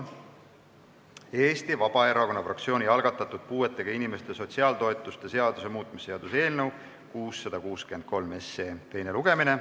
Eesti Vabaerakonna fraktsiooni algatatud puuetega inimeste sotsiaaltoetuste seaduse muutmise seaduse eelnõu 663 teine lugemine.